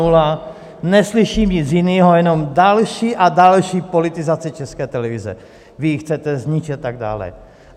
Od 18.00 neslyším nic jiného: jenom další a další politizace České televize, vy ji chcete zničit a tak dále.